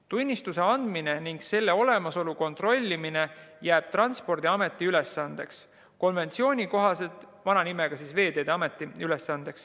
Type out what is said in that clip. Tunnistuse andmine ning selle olemasolu kontrollimine jääb Transpordiameti ülesandeks.